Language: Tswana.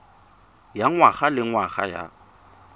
ya ngwaga le ngwaga ya